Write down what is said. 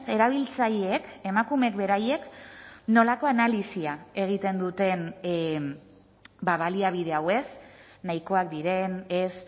erabiltzaileek emakumeek beraiek nolako analisia egiten duten baliabide hau ez nahikoak diren ez